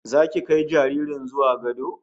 Zaki kai jaririn zuwa gado